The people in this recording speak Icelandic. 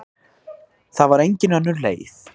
Það var engin önnur leið.